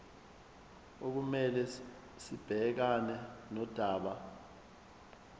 okumele sibhekane nodaba